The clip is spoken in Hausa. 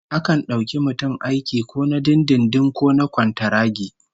Akan dauki mutum aiki ko na dindindin ko na kwantaragi